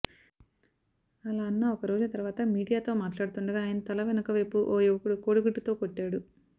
అలా అన్న ఒక రోజు తర్వాత మీడియాతో మాట్లాడుతుండగా ఆయన తల వెనకవైపు ఓ యువకుడు కోడిగుడ్డుతో కొట్టాడు